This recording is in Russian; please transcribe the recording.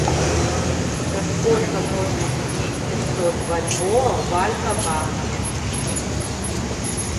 за сколько можно купить пятьсот бальбоа в альфа банке